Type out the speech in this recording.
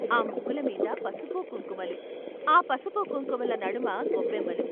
ఆ ముగ్గుల మీద పసుపు కుంకుమలు, ఆ పసుపు కుంకుమల నడుమ గొబ్బెమ్మలు.